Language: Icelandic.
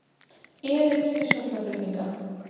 Erill við sjúkraflutninga